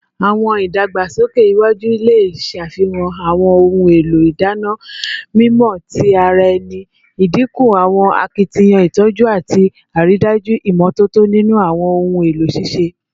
Awọn idagbasoke iwaju le ṣafihan awọn ohun elo idana mimọ ti ara ẹni, idinku awọn akitiyan itọju ati aridaju imototo ninu awọn ohun elo sise